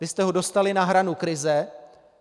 Vy jste ho dostali na hranu krize.